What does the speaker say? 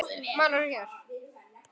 Málarðu hér?